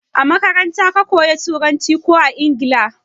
A makaranta ka koya Turanci ko a Ingila?